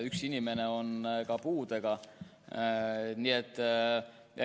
Üks inimene on ka puudega.